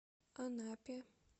анапе